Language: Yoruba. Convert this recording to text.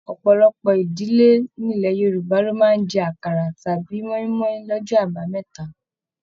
Ọpọlọpọ ìdílé nilẹ̀ Yorùbá lo máa n jẹ àkàrà tàbí moimoi l'ọjọ àbámẹ́ta.